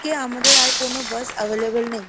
খে আমাদের আর কোনো bus available নেই।